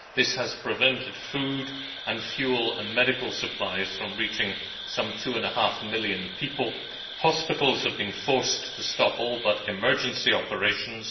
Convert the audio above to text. This has prevented food and fuel and medical supplies from reaching some two and a half million people hospitals have been forced to stop all but emergency operations